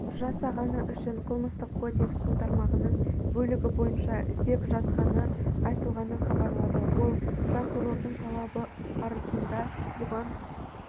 жасағаны үшін қылмыстық кодекстің тармағының бөлігі бойынша іздеп жатқаны айтылғанын хабарлады ол прокурордың талап-арызында бұған